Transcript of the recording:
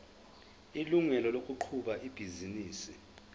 ilungelo lokuqhuba ibhizinisi